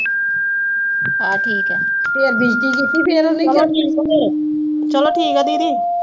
ਚਲੋ ਠੀਕ ਆ ਦੀਦੀ